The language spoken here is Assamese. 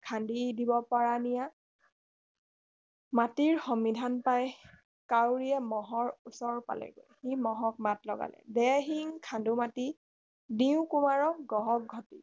খান্দি নিব পাৰা নিয়া মাটিৰ সমিধান পাই কাউৰীয়ে মহৰ ওচৰ পালেগৈ সি মহক মাত লগালে দে শিং খান্দো মাটি দিও কুমাৰক গঢ়ক ঘটী